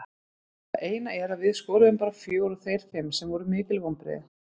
Það eina er að við skoruðum bara fjögur og þeir fimm sem var mikil vonbrigði.